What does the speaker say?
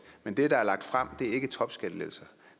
men det der er lagt frem er ikke topskattelettelser